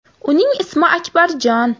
Uning ismi Akbarjon.